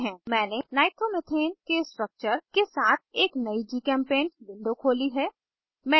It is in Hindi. मैंने nitromethane के structures के साथ एक नयी gchempaint window खोली है